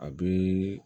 A bɛ